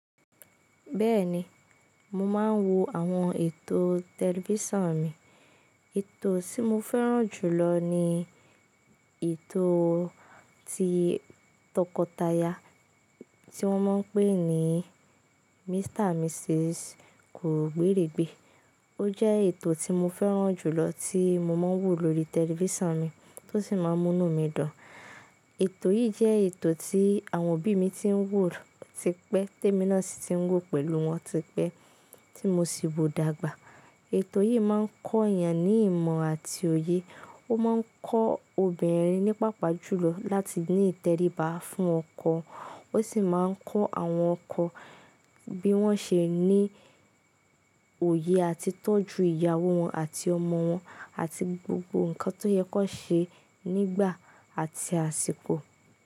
Bẹ́ẹ̀ni, mo máa ń wo àwọn ètò tẹlifísàn mi. Ètò tí mo fẹ́ràn jù lọ ni ètò ti tọkọtaya tí wọ́n máa ń pè ní Mr. And Mrs. Ko gbéèrègbé. Ó jẹ́ ètò tí mo fẹ́ràn jù lọ tí mo máa ń wò lórí tẹlifísàn mi tó sì máa ń múnu mí dun. Ètò yìí jẹ́ ètò tí àwọn òbí mi ti ń wò tipẹ́, témíná sì ti ń wò pẹ̀lú wọn tipẹ́ tí mo sì wò dàgbà. Ètò yìí máa ń kọ́ èèyàn ní ìmọ̀ àti òye. Ó máa ń kọ́ obìnrin ní paapàjùlọ láti ní ìtẹríba fún ọkọ. Ó sì máa ń kọ́ àwọn ọkọ bí wọ́n ṣe ní òye àti tọ́jú ìyàwó wọn àti ọmọ wọn àti gbogbo nǹkan tó yẹ kó ṣe nígbà àti àsìkò.